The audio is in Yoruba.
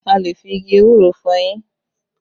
A lè fi igi ewúro fọ eyín